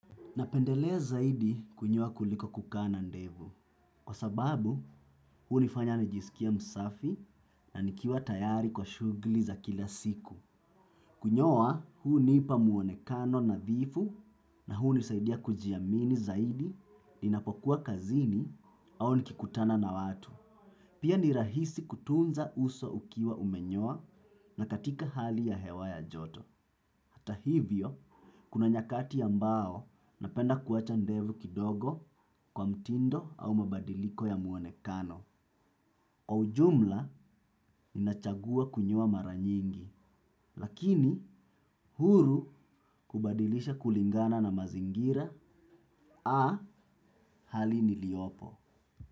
Napendelea zaidi kunyoa kuliko kukaa na ndevu. Kwa sababu, hunifanya nijisikie msafi na nikiwa tayari kwa shugli za kila siku. Kunyoa, hunipa muonekano nathifu na hunisaidia kujiamini zaidi ninapokuwa kazini au nikikutana na watu. Pia ni rahisi kutunza uso ukiwa umenyoa na katika hali ya hewa ya joto. Hata hivyo, kuna nyakati ambao napenda kuacha ndevu kidogo kwa mtindo au mabadiliko ya muonekano. Kwa ujumla ninachagua kunyoa maranyingi, lakini huru kubadilisha kulingana na mazingira a hali niliopo.